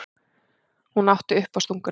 Hún átti uppástunguna.